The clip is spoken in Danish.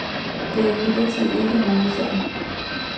Det er imidlertid ikke hovedsagen.